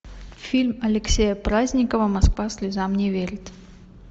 фильм алексея праздникова москва слезам не верит